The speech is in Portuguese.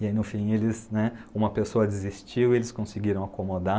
E aí, no fim, uma pessoa desistiu e eles conseguiram acomodar.